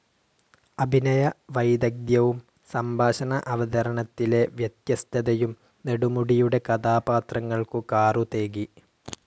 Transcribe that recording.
അഭിനയ വൈദഗ്ധ്യവും സംഭാഷണ അവതരണത്തിലെ വ്യത്യസ്ഥതയും നെടുമുടിയുടെ കഥാപാത്രങ്ങൾക്കു കാറുതേകി.